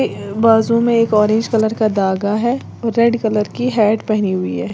बाजू में एक ऑरेंज कलर का धागा है और रेड कलर की हैट पहनी हुई है।